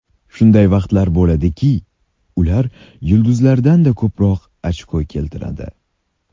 Shunday vaqtlar bo‘ladiki, ular yulduzlardan-da ko‘proq ochko keltiradi.